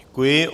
Děkuji.